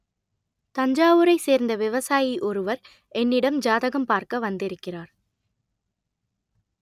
தஞ்சாவூரை சேர்ந்த விவசாயி ஒருவர் என்னிடம் ஜாதகம் பார்க்க வந்திருக்கிறார்